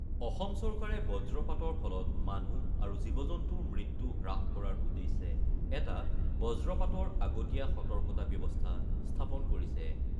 অসম চৰকাৰে বজ্ৰপাতৰ ফলত মানুহ আৰু জীৱ-জন্তুৰ মৃত্যু হ্ৰাস কৰাৰ উদ্দেশ্যে এটা বজ্ৰপাতৰ আগতীয়া সতৰ্কতা ব্যৱস্থা স্থাপন কৰিছে।